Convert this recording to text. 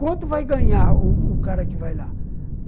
Quanto vai ganhar o o o cara que vai lá?